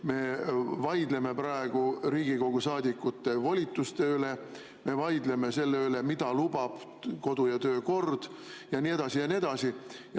Me vaidleme praegu Riigikogu saadikute volituste üle, me vaidleme selle üle, mida lubab kodu‑ ja töökord ja nii edasi ja nii edasi.